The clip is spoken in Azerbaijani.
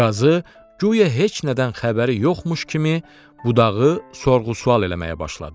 Və qazı guya heç nədən xəbəri yoxmuş kimi budağı sorğu-sual eləməyə başladı.